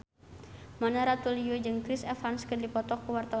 Mona Ratuliu jeung Chris Evans keur dipoto ku wartawan